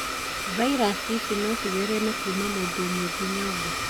Virus ici no cithereme kuuma mũndũ ũmwe nginya ũngĩ